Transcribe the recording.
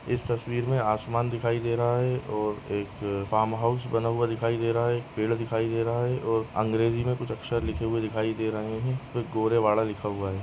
इस तस्वीर मे आसमान दिखाई दे रहा है और एक फार्म हाउस बना हुआ दिखाई दे रहा है एक पेड़ दिखाई दे रहा है और अँग्रेजी मे कुछ अक्षर लिखे हुए दिखाई दे रहे है गोरेवाड़ा लिखा हुआ है।